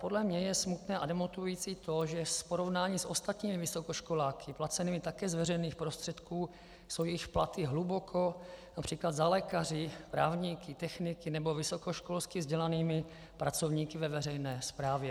Podle mě je smutné a demotivující to, že v porovnání s ostatními vysokoškoláky placenými také z veřejných prostředků jsou jejich platy hluboko například za lékaři, právníky, techniky nebo vysokoškolsky vzdělanými pracovníky ve veřejné správě.